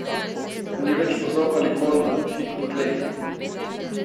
Nič več vozov ali konj, fig po tleh.